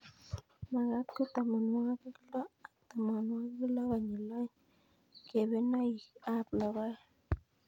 Magat ko tamanwogik loo ak tamanwogik loo konyil aoeng' kebenonik ab logoek